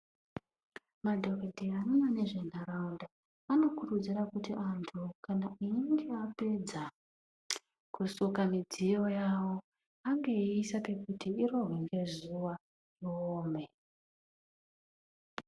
Madhokodheya anoona nezve nharaunda anokurudzira kuti antu kana einge apedza kusuka midziyo yavo ange eiisa pekuti irohwe nezuva iome